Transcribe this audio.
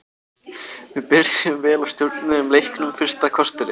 Við byrjuðum vel og stjórnuðum leiknum fyrsta korterið.